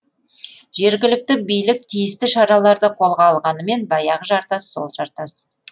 жергілікті билік тиісті шараларды қолға алғанымен баяғы жартас сол жартас